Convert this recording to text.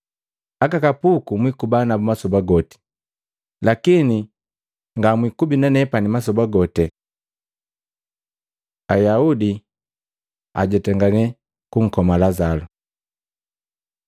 Aka kapuku mwikuba nabu masoba goti, lakini nga mwikubi nanepani masoba gote.” Ayaudi ajetangakane kunkoma Lazalu